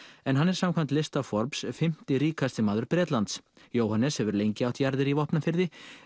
en hann er samkvæmt lista Forbes fimmta ríkasti maður Bretlands Jóhannes hefur lengi átt jarðir í Vopnafirði